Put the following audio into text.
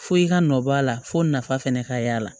Fo i ka nɔbɔ a la fo nafa fɛnɛ ka y'a la